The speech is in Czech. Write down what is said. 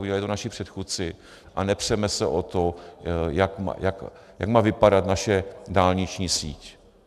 Udělali to naši předchůdci a nepřeme se o to, jak má vypadat naše dálniční síť.